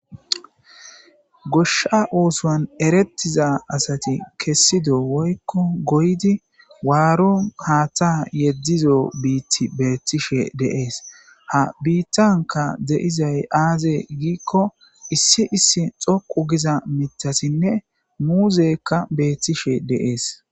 Goshsha ooson erettido asati woyko waaro haaththa biitibeetishe de7ees, ha biitankka beetizay aaze giiko issi issi xoqqu giza mithazinne muuzey beetes.